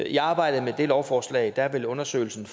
i arbejdet med det lovforslag vil undersøgelsen